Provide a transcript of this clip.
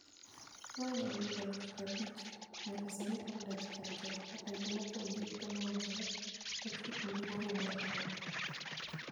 Mahingo jodar 50,000 nyaka sani koro odak e kar jot mar Rhino mopong' gi ute mongoore machiegni ni boma mar Arua.